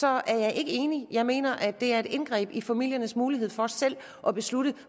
er jeg ikke enig jeg mener det er et indgreb i familiernes mulighed for selv at beslutte